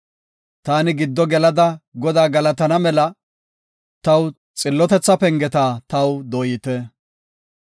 Taani gido gelada Godaa galatana mela, xillotetha pengeta taw dooyite.